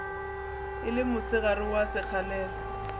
e le mosegare wa sekgalela